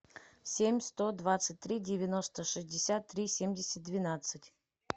семь сто двадцать три девяносто шестьдесят три семьдесят двенадцать